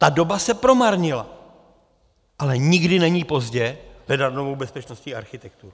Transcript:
Ta doba se promarnila, ale nikdy není pozdě hledat novou bezpečnostní architekturu.